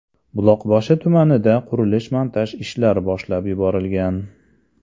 Buloqboshi tumanida qurilish-montaj ishlari boshlab yuborilgan.